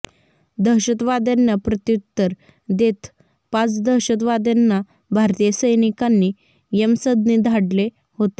दहशतवाद्यांना प्रत्युत्तर देत पाच दहशतवाद्यांना भारतीय सैनिकांनी यमसदनी धाडले होते